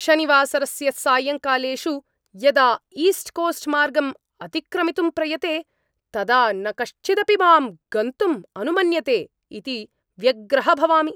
शनिवासरस्य सायङ्कालेषु यदा East Coast मार्गम् अतिक्रमितुं प्रयते, तदा न कश्चिदपि माम् गन्तुं अनुमन्यते इति व्यग्रः भवामि।